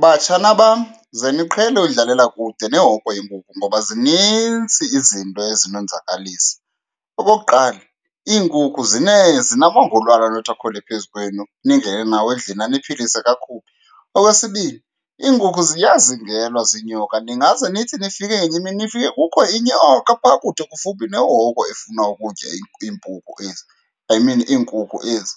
Batshana bam, ze niqhele udlalela kude nehoko yeenkuku ngoba zinintsi izinto ezinonzakalisa. Okokuqala, iinkukhu zinamangolwane anothi akhwele phezu kwenu ningene nawo endlini aniphilise kakubi. Okwesibini, iinkukhu ziyazingelwa ziinyoka, ningaze nithi nifike ngenye imini nifike kukho inyoka phaa kude kufuphi nehoko efuna ukutya iimpuku ezi, I mean iinkukhu ezi.